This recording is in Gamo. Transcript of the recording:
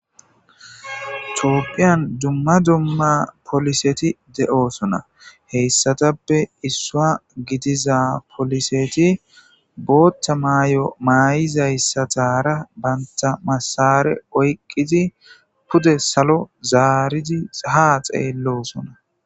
topphiyan dumma dumma poliseti de7osona heyssatappe issua gidiza poliseti bootta maay7o maay7izayssatara baynta masare oyqqidi pude salo zaaridi ahaa xeellosona